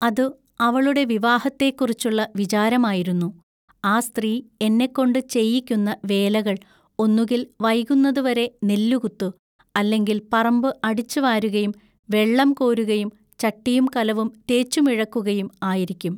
അതു അവളുടെ വിവാഹത്തേക്കുറിച്ചുള്ള വിചാരമായിരുന്നു. ആ സ്ത്രീ എന്നെകൊണ്ടു ചെയ്യിക്കുന്ന വേലകൾ ഒന്നുകിൽ വൈകുന്നതുവരെ നെല്ലുകുത്തു, അല്ലെങ്കിൽ പറമ്പു അടിച്ചുവാരുകയും, വെള്ളം കോരുകയും, ചട്ടിയും കലവും തേച്ചു മിഴക്കുകയും, ആയിരിക്കും.